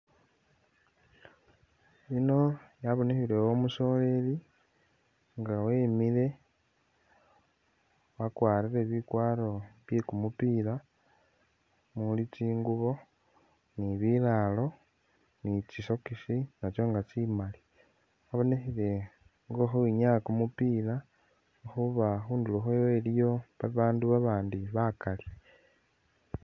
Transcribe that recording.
Yino yabonekhilewo umusoleli nga wemile, wakwarile bikwaro bye kumupila muli tsiguubo ni'bilaalo ni'tsisokisi natso nga tsimaali, wabonekhile nga ukhowinyaa kumupila lwekhuba khundulo khwe ilikho babandu babandi bakaali